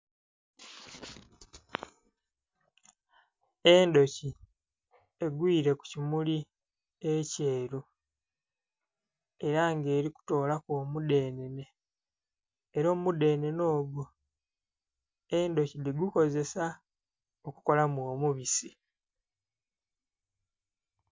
Endhoki egwire ku kimuli ekyeru era nga eri kutolaku omudhenene era omudhenene ogwo endhoki dhi gukozesa okukolamu omubisi.